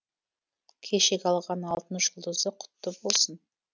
кешегі алған алтын жұлдызы құтты болсын